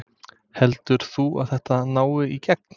Heldur þú að þetta nái í gegn?